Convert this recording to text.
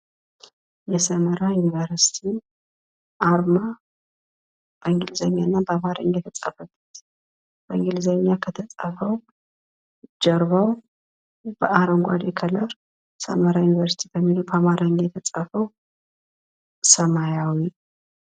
የሰመራ ዩኒቨርስቲ አርማ በእንግሊዝኛና በአማርኛ የተጻፈበት በእንግሊዝኛ ከተጻፈው ጀርባው በአረንጓዴ ከለር ሰመራ ዩኒቨርስቲ የሚለው በአማርኛ የተጻፈው ሰማያዊ።